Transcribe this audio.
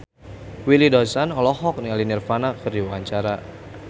Willy Dozan olohok ningali Nirvana keur diwawancara